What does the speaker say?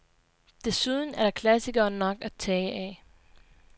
Desuden er der klassikere nok at tage af.